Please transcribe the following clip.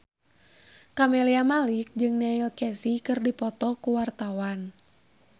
Camelia Malik jeung Neil Casey keur dipoto ku wartawan